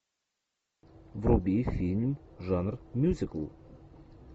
вруби фильм жанр мюзикл